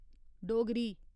Dogri